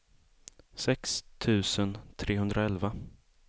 sex tusen trehundraelva